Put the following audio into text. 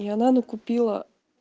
и она купила